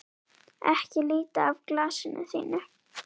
Ekki líta af glasinu þínu.